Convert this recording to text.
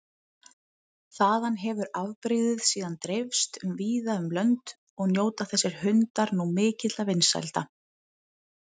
Þaðan hefur afbrigðið síðan dreifst víða um lönd og njóta þessir hundar nú mikilla vinsælda.